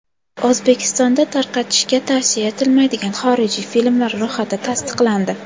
O‘zbekistonda tarqatishga tavsiya etilmaydigan xorijiy filmlar ro‘yxati tasdiqlandi.